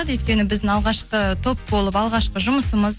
өйткені біздің алғашқы топ болып алғашқы жұмысымыз